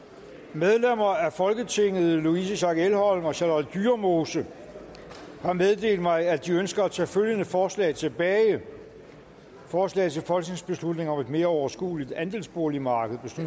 medlemmer af folketinget louise schack elholm og charlotte dyremose har meddelt mig at de ønsker at tage følgende forslag tilbage forslag til folketingsbeslutning om et mere overskueligt andelsboligmarked